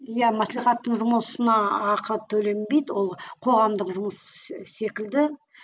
иә маслихаттың жұмысына ақы төленбейді ол қоғамдық жұмыс секілді